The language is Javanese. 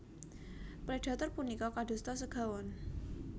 Predhator punika kadosta segawon